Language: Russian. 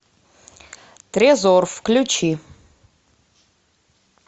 трезор включи